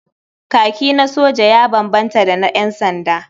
Kaki na soja ya bambanta da na ƴansanda.